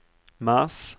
mars